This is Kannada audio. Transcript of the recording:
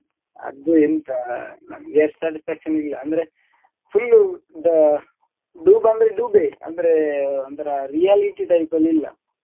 ಅದು ಎಂತ ನನ್ಗೆ ಅಷ್ಟು satisfaction ಇಲ್ಲ ಅಂದ್ರೆ full da~ dupe ಅಂದ್ರೆ dupe ಅಂದ್ರೆ ಒಂಥರ reality type ಅಲ್ಲಿ ಇಲ್ಲ.